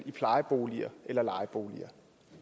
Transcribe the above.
i plejeboliger eller lejeboliger